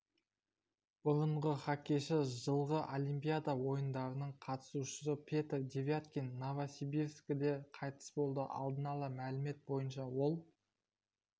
бұрыншы хоккейші жылғы олимпиада ойындарының қатысушысы петр девяткин новосибискіде қайтыс болды алдын ала мәлімет бойынша ол